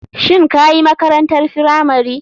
Shin kayi makrantar firamari?